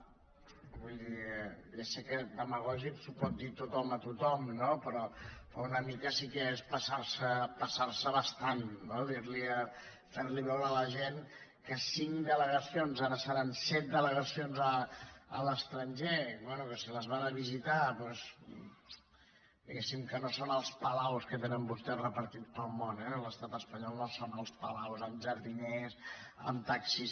vull dir ja sé que demagògics ho pot dir tothom a tothom no però una mica sí que és passar se bastant no fer li veure a la gent que cinc delegacions ara seran set delegacions a l’estranger bé que si les van a visitar doncs diguem que no són els palaus que tenen vostès repartits pel món eh l’estat espanyol no són els palaus amb jardiners amb taxis